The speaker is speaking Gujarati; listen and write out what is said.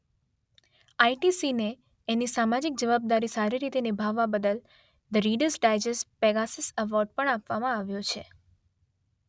આઇટીસીને એની સામાજિક જવાબદારી સારી રીતે નિભાવવા બદલ the Reader's Digest Pegasus award પણ આપવામાં આવ્યો છે.